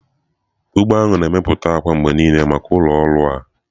ugbo ahụ na-emepụta akwa mgbe niile maka ụlọ ọrụ a.